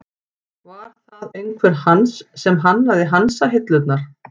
Var það einhver Hans sem hannaði hansahillurnar?